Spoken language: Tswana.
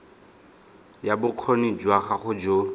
ya bokgoni jwa gago jo